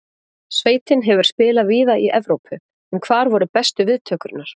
Sveitin hefur spilað víða í Evrópu, en hvar voru bestu viðtökurnar?